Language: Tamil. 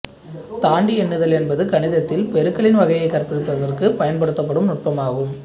தாண்டி எண்ணுதல் என்பது கணிதத்தில் பெருக்கலின் வகைகளைக் கற்பிப்பதற்குப் பயன்படுத்தும் நுட்பமாகும்